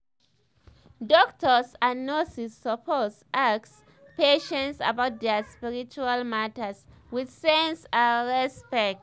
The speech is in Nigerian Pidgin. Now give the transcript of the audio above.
doctors and nurses suppose ask patients about their spiritual matter with sense and respect